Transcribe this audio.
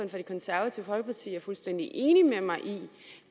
det konservative folkeparti er fuldstændig enig med mig i